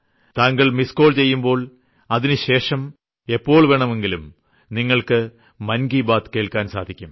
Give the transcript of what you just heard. താങ്കൾ missed call ചെയ്യുമ്പോൾ അതിനുശേഷം എപ്പോൾ വേണമെങ്കിലും നിങ്ങൾക്ക് മൻ കി ബാത് കേൾക്കാൻ സാധിക്കും